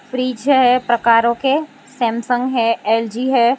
Fridge है प्रकारों के सैमसंग है एल_जी है।